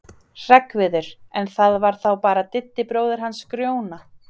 Hreggviður, en það var þá bara Diddi bróðir hans Grjóna.